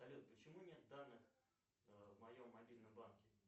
салют почему нет данных в моем мобильном банке